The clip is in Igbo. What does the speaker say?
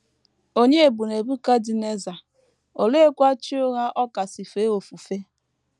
Ònye bụ Nebukadneza, oleekwa chi ụgha ọ kasị fee ofufe?